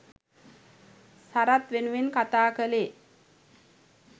සරත් වෙනුවෙන් කතා කලේ